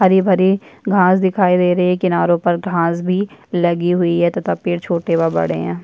हरे भरी घास दिखाई दे रही है किनारों पर घास भी लगी हुई है तथा पेड़ छोटे व बड़े है।